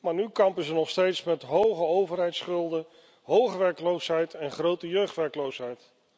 Maar nu kampen ze nog steeds met hoge overheidsschulden, hoge werkloosheid en grote jeugdwerkloosheid.